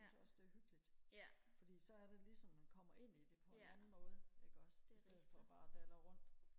jeg synes også det er hyggeligt fordi så er det ligesom at man kommer ind i det på en anden måde ikke også istedet for bare og dalre rundt